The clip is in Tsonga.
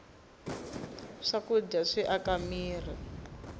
swakudya swi aka mirhi